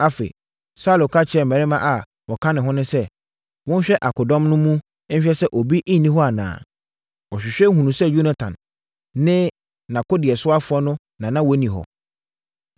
Afei, Saulo ka kyerɛɛ mmarima a wɔka ne ho no sɛ, “Monhwɛ akodɔm no mu nhwɛ sɛ obi nni hɔ anaa.” Wɔhwehwɛeɛ hunuu sɛ Yonatan ne nʼakodeɛsoafoɔ no na na wɔnni hɔ.